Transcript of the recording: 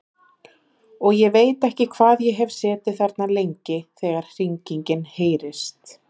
Og ég veit ekki hvað ég hef setið þarna lengi þegar hringingin heyrist.